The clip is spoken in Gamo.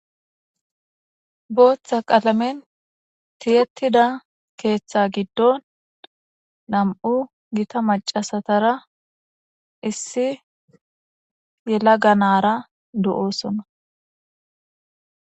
booththa qalamen tiyettida keeththa giddo nam'u gita macasatara issi yelaga nara de'osona